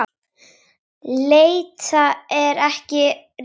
Leita er ekki rétta orðið.